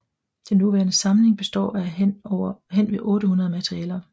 Den nuværende samling består af hen ved 800 malerier